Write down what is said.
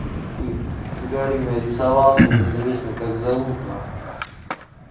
хуй с горы нарисовался неизвестно как зовут нахуй